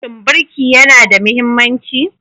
Shin birki yana da mahimmanci?